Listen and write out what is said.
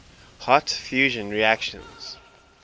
hot fusion reactions